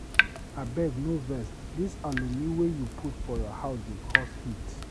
Abeg no vex, dis alumi wey you put for your house dey cause heat.